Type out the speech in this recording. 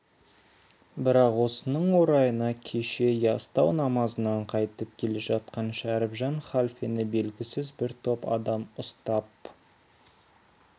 бірақ осының орайына кеше ястау намазынан қайтып келе жатқан шәрібжан халфені белгісіз бір топ адам ұстап